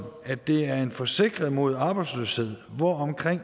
at det er en forsikring mod arbejdsløshed hvor omkring